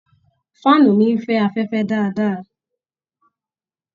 fáànù mi ń fẹ́ afẹfẹ dáadáa